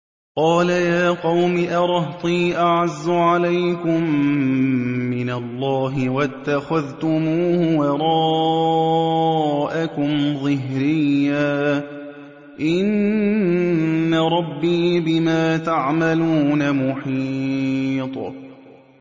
قَالَ يَا قَوْمِ أَرَهْطِي أَعَزُّ عَلَيْكُم مِّنَ اللَّهِ وَاتَّخَذْتُمُوهُ وَرَاءَكُمْ ظِهْرِيًّا ۖ إِنَّ رَبِّي بِمَا تَعْمَلُونَ مُحِيطٌ